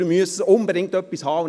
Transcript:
Wir müssen unbedingt etwas haben.